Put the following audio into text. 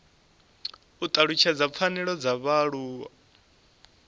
u talutshedza pfanelo dza vhaaluwa